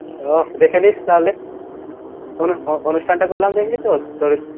অহ দেখে নিস তাহলে অনু অ ~ অনুষ্ঠান টা করলাম দেখলিতো